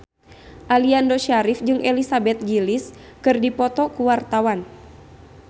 Aliando Syarif jeung Elizabeth Gillies keur dipoto ku wartawan